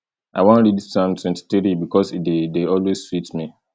i wan read psalm twenty-three bikos e dey dey always sweet me